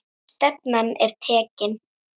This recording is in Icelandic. Stefnan er tekin.